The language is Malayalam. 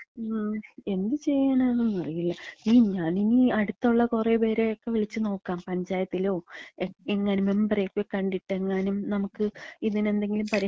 ങാ. എന്ത് ചെയ്യാനാണെന്നറീല. ഈ, ഞാനിനി അട്ത്തുള്ള കൊറേപേരൊക്കെ വിളിച്ച് നോക്കാം. പഞ്ചായത്തിലോ, എങ്, എങ്ങാനും മെമ്പറൊക്കെ കണ്ടിട്ട് എങ്ങാനും നമ്ക്ക് ഇതിനെന്തെങ്കിലും പരിഹാരം,